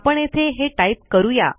आपण येथे हे टाईप करू या